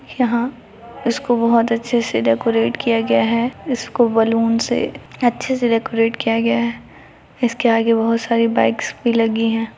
यहाँ इसको बहुत अच्छे से डैकोरेट किया गया है इसको बैलून से अच्छे से डैकोरेट किया गया है इसके आगे बहुत सारी बाइक्स भी लगी है।